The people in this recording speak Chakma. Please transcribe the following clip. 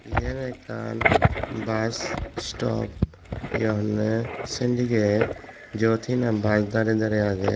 iyen ekkan bus istop hi honney sendigek jot hi naam bus darey darey agey.